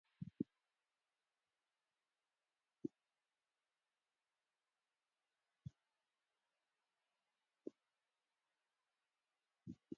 እዛ መኪና እዝኣ ሰርቨስ እንትትከውን ኣብ ከተማ ኣክሱም እንትከውን ናይ መን ቢሮታት ሰርቨስ ትከውን ፃዕዳ ሕብሪ ዘለዋ እያ ይኩን እንበር ናይ መን ቢሮ ሰርቨስ?